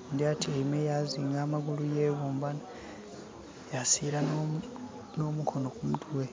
oghundhi atyeime yazinga amagulu, yeghumba yasira nho mukono ku mutwe.